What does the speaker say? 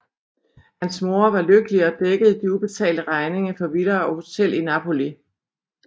Hans mor var lykkelig og dækkede de ubetalte regninger for villa og hotel i Napoli